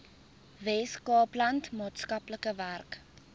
weskaapland maatskaplike werk